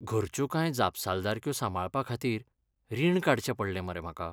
घरच्यो कांय जापसालदारक्यो सांबाळपाखातीर रीण काडचें पडलें मरे म्हाका.